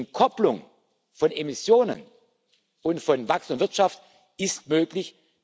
Die Entkopplung von Emissionen und Wachstum der Wirtschaft ist möglich.